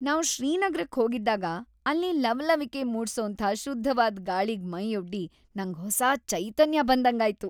ನಾವ್ ಶ್ರೀನಗರಕ್ ಹೋಗಿದ್ದಾಗ ಅಲ್ಲಿ ಲವಲವಿಕೆ ಮೂಡ್ಸೋಂಥ ಶುದ್ಧವಾದ್ ಗಾಳಿಗ್ ಮೈಯೊಡ್ಡಿ ನಂಗ್‌ ಹೊಸ ಚೈತನ್ಯ ಬಂದಂಗಾಯ್ತು.